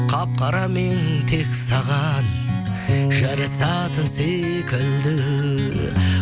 қап қарамен тек саған жарасатын секілді